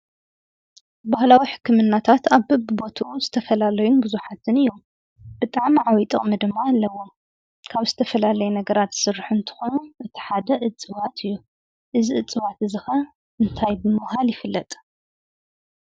ባህላዊ ሕክምናታት ኣብ በብቦትኡ ዝተፈላለዩን ብዙሓትን እዮም፡፡ ብጣዕሚ ዓብዪ ጥቕሚ ድማ ኣለዎም፡፡ ካብ ዝተፈላለየ ነገራት ዝስርሑ እንትኾኑ እቲ ሓደ እፅዋት እዩ፡፡ እዚ እዕዋት ከዓ እንታይ ብምባል ይፍለጥ?